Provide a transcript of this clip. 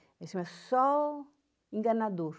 Ele chamava Sol Enganador.